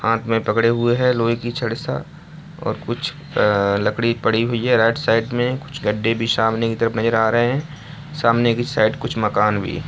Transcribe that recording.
हाथ में पकड़े हुए हैं लोहे की छड़ सा और कुछ आ लकड़ी पड़ी हुई है राइट साइड में कुछ गड्ढे भी सामने की तरफ नजर आ रहे हैं सामने की साइड कुछ मकान भी है।